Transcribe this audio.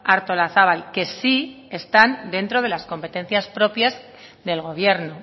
artolazabal que sí están dentro de las competencias propias del gobierno